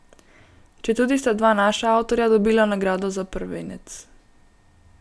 Četudi sta dva naša avtorja dobila nagrado za prvenec.